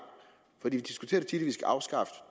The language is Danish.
for vi diskuterer tit at vi skal afskaffe